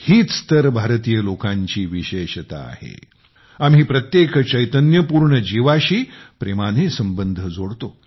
हीच तर भारतीय लोकांची विशेषता आहे आम्ही प्रत्येक चैतन्यपूर्ण जीवाशी प्रेमाने संबंध जोडतो